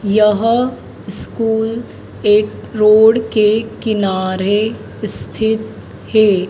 यह स्कूल एक रोड के किनारे स्थित है।